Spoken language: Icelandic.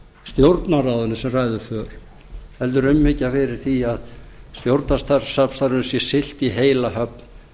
stjórnarráðinu sem ræður för heldur umhyggja fyrir því að stjórnarsamstarfinu sé siglt í heila höfn